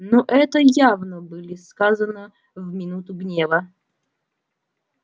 ну это явно были сказано в минуту гнева